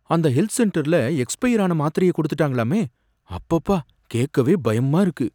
அந்த ஹெல்த் சென்டர்ல எக்ஸ்பயர் ஆன மாத்திரைய கொடுத்துட்டாங்களாமே, அப்பப்பா கேக்கவே பயமா இருக்கு.